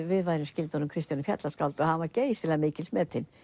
við værum skyld Kristjáni fjallaskáldi og hann var geysilega mikils metinn